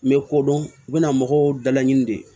N bɛ ko dɔn u bɛna mɔgɔw da laɲini de